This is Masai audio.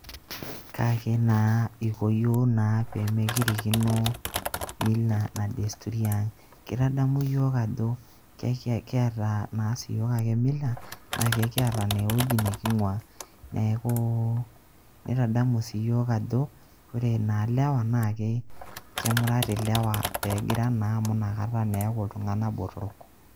Kaake naa iko iyiok naa pee mekirikino mila na desturi aang'. Kitadamu iyiok ajo kiata naa siyook ake mila naake kiyata naa ewueji neking'ua. Neeku nitadamu sii iyiok ajo kore naa lewa kemurati lewa peegira naa amu inakata eeku iltung'anak botorok.